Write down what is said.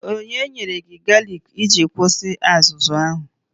Onye nyere gị galiki iji kwụsị azụzụ ahụ?